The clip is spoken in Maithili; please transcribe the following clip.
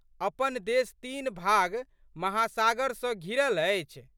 अपन देश तीन भाग महासागर सँ घिरल अछि।